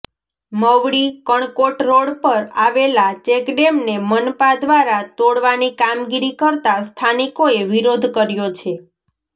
Mavdi Kankot road પર આવેલા ચેકડેમને મનપા દ્વારા તોડવાની કામગીરી કરતાં સ્થાનિકોએ વિરોધ કર્યો છે